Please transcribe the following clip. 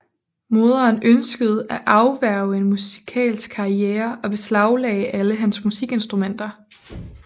Moderen ønskede at afværge en musikalsk karriere og beslaglagde alle hans musikinstrumenter